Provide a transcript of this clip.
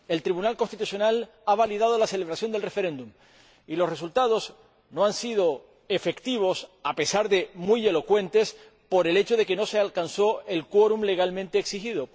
El Tribunal Constitucional ha validado la celebración del referéndum, y los resultados no han sido efectivos, a pesar de muy elocuentes, por el hecho de que no se alcanzó el quórum legalmente exigido.